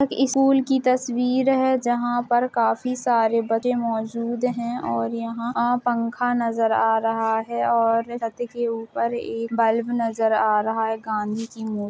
school की तस्वीर है और जहा काफी सारे बच्चे मौजूद है और यहाँ पंखा नज़र आ रहा है और छद के ऊपर एक बल्ब नजर आ रहा है गाँधी की मूर्ती --